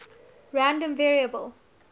random variable